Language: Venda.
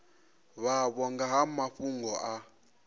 vhavho nga ha mafhungo a